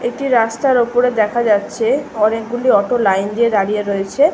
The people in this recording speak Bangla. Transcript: এটি রাস্তার ওপরে দেখা যাচ্ছে অনেকগুলি অটো লাইন দিয়ে দাঁড়িয়ে রয়েছে।